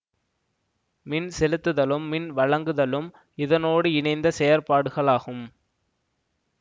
மின் செலுத்துதலும் மின் வழங்குதலும் இதனோடு இணைந்த செயற்பாடுகள் ஆகும்